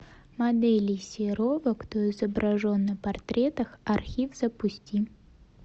моделей серова кто изображен на портретах архив запусти